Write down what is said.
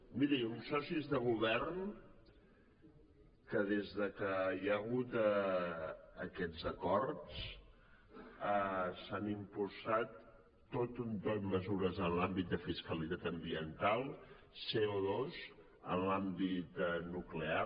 mirin uns socis de govern que des que hi ha hagut aquests acords s’han impulsat tot un tou de mesures en l’àmbit de fiscalitat ambiental coen l’àmbit nuclear